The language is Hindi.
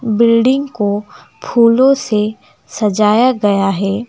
बिल्डिंग को फूलों से सजाया गया है।